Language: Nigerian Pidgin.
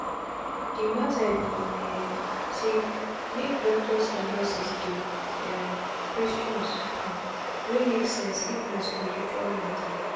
the matter be um saymake doctors and nurses dey um questions hmmm wey make sense if na spirtual matter.